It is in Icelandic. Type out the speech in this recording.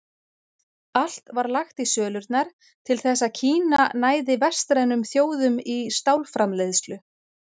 Allt var lagt í sölurnar til þess að Kína næði vestrænum þjóðum í stálframleiðslu.